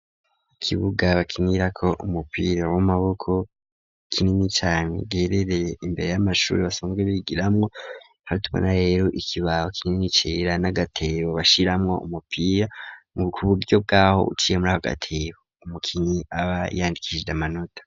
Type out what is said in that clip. Ikibuga bakinira ko umupira w'amaboko kinini cane cegereye imbere y'amashure basanzwe bigiramwo hatubona rero ikibaho kinini cera n'agatebo bashiramwo umupira kuburyo bwaho uciye muri ako gatebo ku mukinnyi aba yandikishije amanota.